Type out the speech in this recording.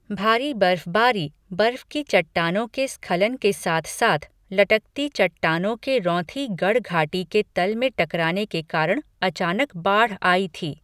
भारी बर्फबारी, बर्फ़ की चट्टानों के स्खलन के साथ साथ लटकती चट्टानों के रौंथी गढ़ घाटी के तल में टकराने के कारण अचानक बाढ़ आई थी।